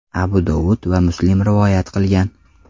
Abu Dovud va Muslim rivoyat qilgan.